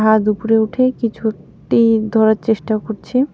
হাত উপরে উঠে কিছুটি ধরার চেষ্টা করছে.